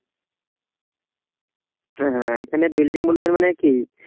হ্যাঁ এখানে building বলতে গেলে মানে কি?